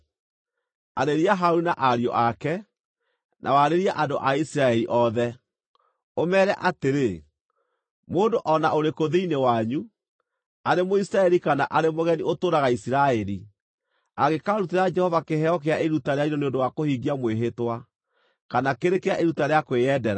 “Arĩria Harũni na ariũ ake, na warĩrie andũ a Isiraeli othe, ũmeere atĩrĩ: ‘Mũndũ o na ũrĩkũ thĩinĩ wanyu, arĩ Mũisiraeli kana arĩ mũgeni ũtũũraga Isiraeli, angĩkaarutĩra Jehova kĩheo kĩa iruta rĩa njino nĩ ũndũ wa kũhingia mwĩhĩtwa, kana kĩrĩ kĩa iruta rĩa kwĩyendera,